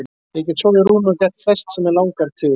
Ég get sofið í rúmi og gert flest sem mig langar til.